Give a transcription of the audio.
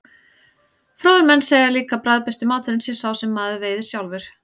Fróðir menn segja líka að bragðbesti maturinn sé sá sem maður veiðir sjálfur.